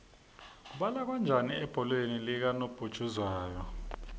kubalwa kanjani ebholeni likanobhujuzwayo